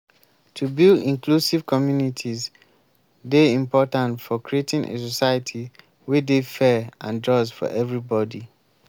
to build inclusive communities dey important for creating a society wey dey fair and just for everybody.